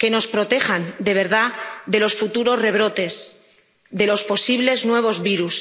que nos protejan de verdad de los futuros rebrotes, de los posibles nuevos virus.